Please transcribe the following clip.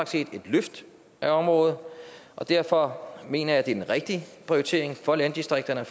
set et løft af området og derfor mener jeg at det er en rigtig prioritering for landdistrikterne og